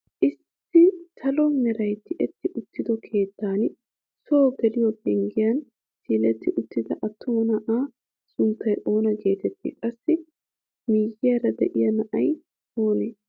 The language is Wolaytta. Issi salo meraay tiyetti uttido keettan soo geliyoo penggiyaa siiletti uttida attuma na'aa sunttay oona getettii? qassi miyiyaara de'iyaa na'ay oonee?